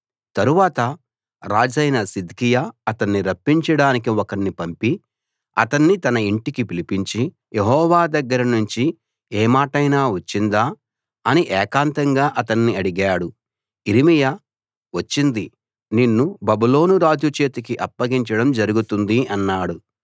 తరువాత రాజైన సిద్కియా అతన్ని రప్పించడానికి ఒకణ్ణి పంపి అతన్ని తన ఇంటికి పిలిపించి యెహోవా దగ్గర నుంచి ఏ మాటైనా వచ్చిందా అని ఏకాంతంగా అతన్ని అడిగాడు యిర్మీయా వచ్చింది నిన్ను బబులోను రాజు చేతికి అప్పగించడం జరుగుతుంది అన్నాడు